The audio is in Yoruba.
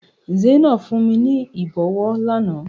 Zainab fún mi ní ìbọwọ́ lánàá.